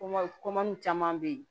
Kom caman bɛ yen